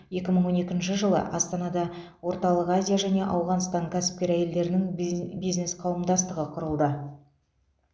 екі мың он екінші жылы астанада орталық азия және ауғанстан кәсіпкер әйелдерінің биз бизнес қауымдастығы құрылды